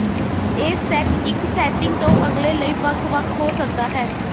ਇਹ ਸੈੱਟ ਇੱਕ ਸੈਟਿੰਗ ਤੋਂ ਅਗਲੇ ਲਈ ਵੱਖ ਵੱਖ ਹੋ ਸਕਦਾ ਹੈ